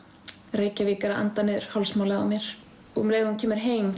Reykjavík er að anda niður hálsmálið á mér um leið og hún kemur heim